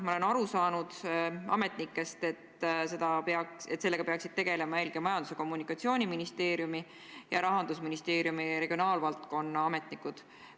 Ma olen ametnike jutust aru saanud, et sellega peaksid tegelema eelkõige Majandus- ja Kommunikatsiooniministeeriumi ja Rahandusministeeriumi regionaalvaldkonnaga tegelevad ametnikud.